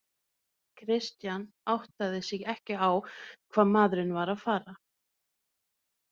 Christian áttaði sig ekki á hvað maðurinn var að fara.